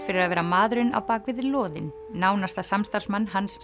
fyrir að vera maðurinn á loðin nánasta samstarfsmann Hans